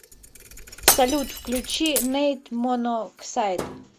салют включи нэйт моноксайд